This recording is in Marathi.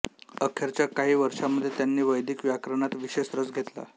अखेरच्या काही वर्षांमध्ये त्यांनी वैदिक व्याकरणात विशेष रस घेतला